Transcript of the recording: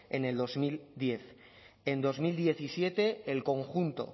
en el dos mil diez en dos mil diecisiete el conjunto